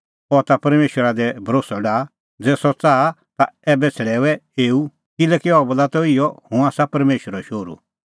अह ता परमेशरा दी भरोस्सअ डाहा ज़ै सह च़ाहा तै ऐबै छ़ड़ैऊऐ एऊ किल्हैकि अह बोला त इहअ हुंह आसा परमेशरो शोहरू